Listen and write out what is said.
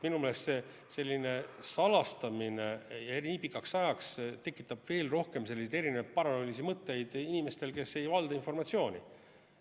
Minu meelest selline salastamine nii pikaks ajaks tekitab veel rohkem paranoilisi mõtteid inimestele, kes ei valda informatsiooni.